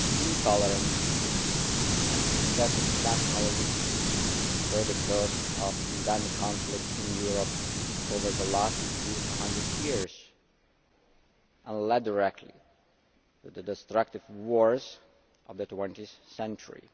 Intolerance and excessive nationalism were the cause of endemic conflict in Europe over the last few hundred years and led directly to the destructive wars of the 20 th century.